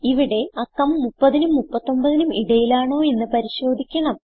ഇവിടെ അക്കം 30നും 39നും ഇടയിലാണോ എന്ന് പരിശോധിക്കണം